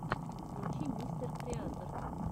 включи мистер креатор